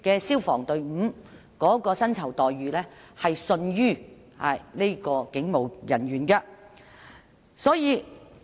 消防人員的薪酬待遇亦因而遜於警務人員。